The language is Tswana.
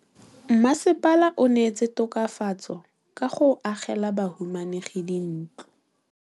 Mmasepala o neetse tokafatsô ka go agela bahumanegi dintlo.